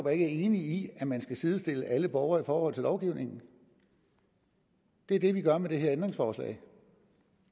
er enig i at man skal sidestille alle borgere i forhold til lovgivningen det er det vi gør med det her ændringsforslag